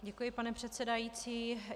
Děkuji, pane předsedající.